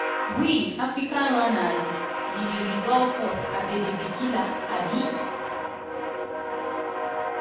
we [african runners] be di result of abebe bikila. um